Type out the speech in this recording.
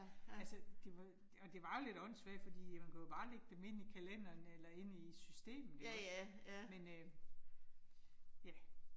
Altså, det var og det var jo lidt åndssvagt fordi man kunne jo bare lægge dem ind i kalenderen eller ind i systemet ikke også, men øh. Ja